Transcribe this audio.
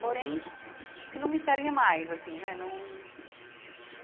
Uhum Porém, não me serve mais assim né não.